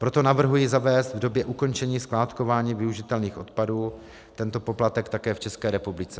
Proto navrhuji zavést v době ukončení skládkování využitelných odpadů tento poplatek také v České republice.